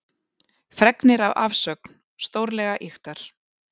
Fregnir af afsögn stórlega ýktar